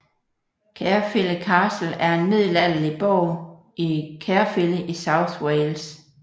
Caerphilly Castle er en middelalderlig borg i Caerphilly i South Wales